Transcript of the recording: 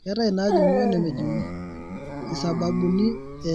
Keetai inaajung'I onemejung'I isababuni e